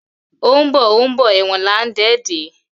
O ńbo o ńbo èwòn là ńdé dè